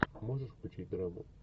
можешь включить драму